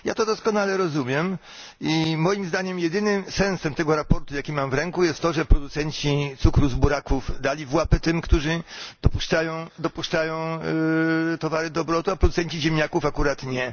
Ja to doskonale rozumiem i moim zdaniem jedynym sensem tego sprawozdania, które mam w ręku, jest to, że producenci cukru z buraków dali w łapę tym, którzy dopuszczają towary do obrotu, a producenci ziemniaków akurat nie.